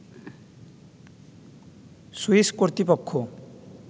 Swiss কর্তৃপক্ষ